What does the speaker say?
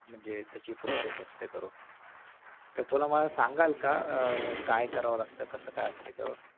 म्हणजे त्याची process असते करून? तर थोडं मला सांगाल का अह काय करावं लागत कस काय असत?